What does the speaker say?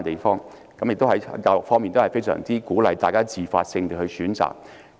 在教育方面，當地非常鼓勵學生自發性地選擇。